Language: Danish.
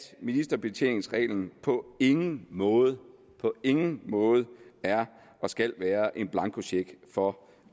ministerbetjeningsreglen på ingen måde på ingen måde er og skal være en blankocheck for